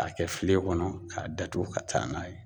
Ka kɛ filen kɔnɔ, ka datugu ka taa n'a ye.